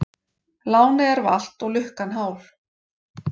Lánið er valt og lukkan hál.